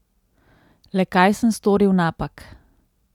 Le kaj sem storil napak?